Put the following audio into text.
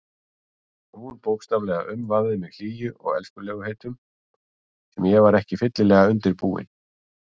Hún bókstaflega umvafði mig hlýju og elskulegheitum sem ég var ekki fyllilega búinn undir.